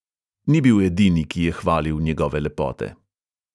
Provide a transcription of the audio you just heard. Ni bil edini, ki je hvalil njegove lepote.